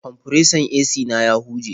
Kwamfuresan AC na ya huje.